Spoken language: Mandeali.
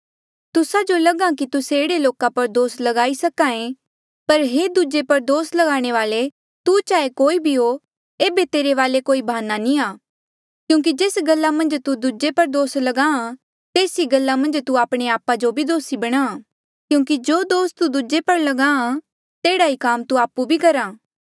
तुस्सा जो लगा कि तुस्से एह्ड़े लोका पर दोस लगाई सके पर हे दूजे पर दोस लगाणे वाले तू चाहे कोई भी हो एेबे तेरे वाले कोई भाना नी आ क्यूंकि जेस गल्ला मन्झ तू दूजे पर दोस ल्गाहां तेस ई गल्ला मन्झ तू आपणे आपा जो भी दोसी बणाहां क्यूंकि जो दोस तू दूजे पर ल्गाहां तेह्ड़ा ई काम तू आपु भी करहा